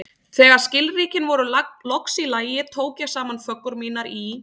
Þegar skilríkin voru loks í lagi, tók ég saman föggur mínar í